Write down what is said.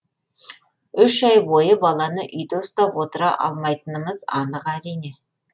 үш ай бойы баланы үйде ұстап отыра алмайтынымыз анық әрине